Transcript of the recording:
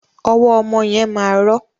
Ọwọ ọmọ yẹn ma rọ.